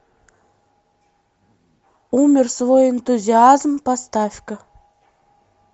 умер свой энтузиазм поставь ка